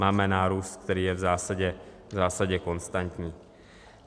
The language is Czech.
Máme nárůst, který je v zásadě konstantní.